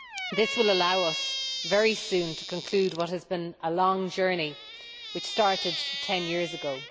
This will allow us very soon to conclude what has been a long journey, which started ten years ago.